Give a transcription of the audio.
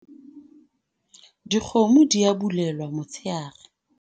dikgomo di a bulelwa motsheare